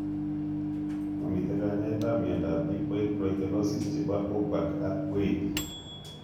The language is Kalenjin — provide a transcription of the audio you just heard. Mamitei kanyaet ap miondap lipoid proteinosis chebo urbach ak wiethe